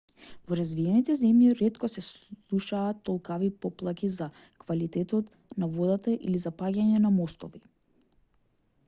во развиените земји ретко се слушаат толкави поплаки за квалитетот на водата или за паѓање на мостови